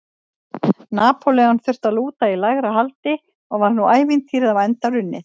Napóleon þurfti að lúta í lægra haldi og var nú ævintýrið á enda runnið.